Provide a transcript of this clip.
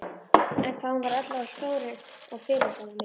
En hvað hún var öll orðin stór og fyrirferðarmikil.